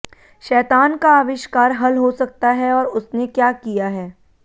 शैतान का आविष्कार हल हो सकता है और उसने क्या किया है